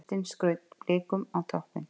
Kristinn skaut Blikum á toppinn